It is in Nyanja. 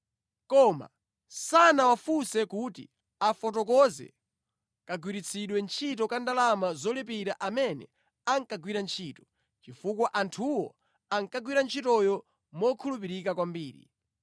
Koma sanawafunse kuti afotokoze kagwiritsidwe ntchito ka ndalama zolipira amene ankagwira ntchito, chifukwa anthuwo ankagwira ntchitoyo mokhulupirika kwambiri.